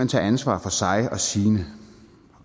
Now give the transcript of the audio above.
tage ansvar for sig og sine